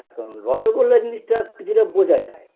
এখন রসগোল্লা জিনিসটা কিছুটা বোঝা যায়